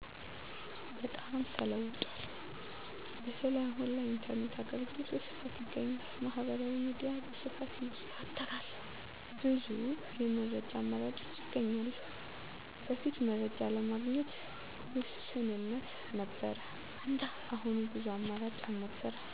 በጣም ተለውጧል፣ በተለይ አሁን ላይ የኢንተርኔት አገልግሎት በስፋት ይገኛል። ማህበራዊ ሚዲያ በስፋት ይዘወተራል፣ ብዙ የመረጃ አማራጮች ይገኛሉ። በፊት መረጃ ለማግኘት ውስንነት ነበር እንደ አሁኑ ብዙ አማራጭ አልነበረም።